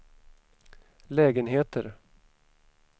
lägenheter